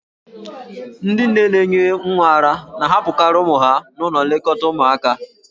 Ndị nne na-enye nwa ara na-ahapụkarị ụmụ ha n'ụlọ nlekọta ụmụaka.